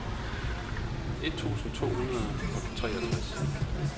et tusind to hundrede og treogtres